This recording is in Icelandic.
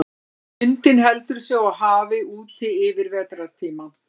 Lundinn heldur sig á hafi úti yfir vetrartímann.